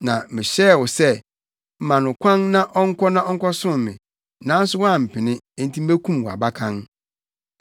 na mehyɛɛ wo sɛ, “Ma no kwan na ɔnkɔ na ɔnkɔsom me.” Nanso woampene; nti mekum wʼabakan.’ ”